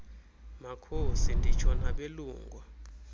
makhosi nditsho nabelungu